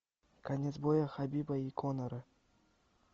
конец боя хабиба и коннора